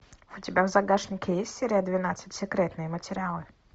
у тебя в загашнике есть серия двенадцать секретные материалы